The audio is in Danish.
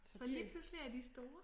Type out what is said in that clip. Så lige pludselig er de store